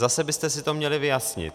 Zase byste si to měli vyjasnit.